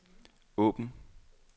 åbn